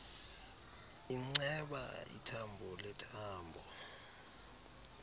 inceba ithambo lethambo